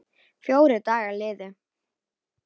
Fjórir dagar liðu.